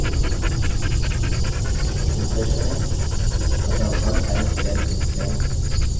अतः 1 times 10 is 10 2 times 2 is 2 times 10 is 20 10 times 10 is a hundred